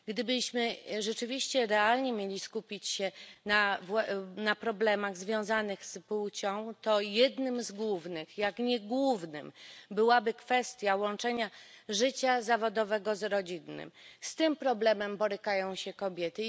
Gdybyśmy rzeczywiście realnie mieli skupić się na problemach związanych z płcią, to jednym z głównych, jak nie głównym tematem, byłaby kwestia łączenia życia zawodowego z rodzinnym z tym problemem borykają się kobiety.